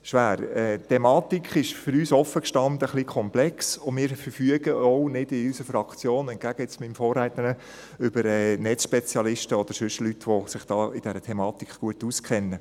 Die Thematik ist für uns offen gestanden etwas komplex, und wir verfügen in unserer Fraktion auch nicht – entgegen meinem Vorredner – über Netzspezialisten oder über Leute, die sich mit dieser Thematik gut auskennen.